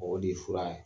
O de ye fura ye